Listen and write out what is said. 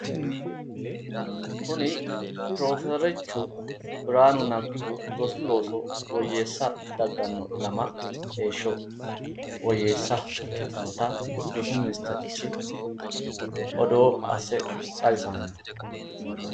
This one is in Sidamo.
kuni pirofeserichu birhanu neggihu rosu looso woyyeessa dagganno ilama heeshsho woyyeessa ikkitinota rosu ministerichi odoo asse xawisanni no.